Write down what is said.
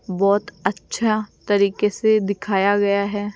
बहुत अच्छा तरीके से दिखाया गया है।